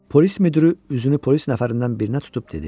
Polis müdiri üzünü polis nəfərindən birinə tutub dedi: